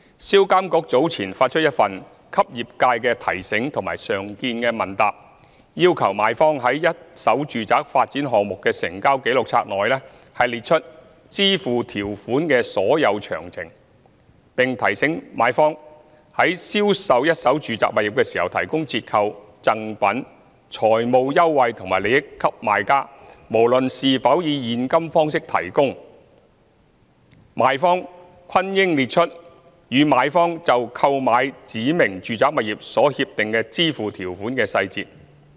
銷監局早前發出一份"給業界的提醒"和常見問答，要求賣方在一手住宅發展項目的成交紀錄冊內列出支付條款的所有詳情，並提醒賣方，如果在銷售一手住宅物業時提供折扣、贈品、財務優惠或利益給買家，無論是否以現金方式提供，賣方均應列出與買方就購買指明住宅物業所協定的支付條款的細節。